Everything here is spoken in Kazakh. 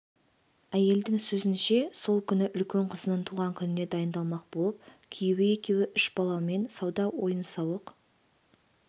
әйелдің сөзінше сол күні үлкен қызының туған күніне дайындалмақ болып күйеуі екеуі үш баламен сауда-ойын-сауық